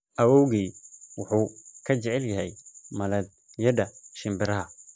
Awoowgay wuxuu ka jecel yahay malladhyada shinbiraha